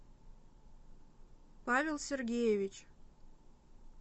павел сергеевич